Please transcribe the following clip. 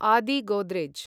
आदि गोद्रेज्